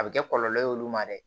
A bɛ kɛ kɔlɔlɔ ye olu ma dɛ